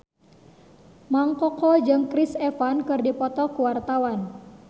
Mang Koko jeung Chris Evans keur dipoto ku wartawan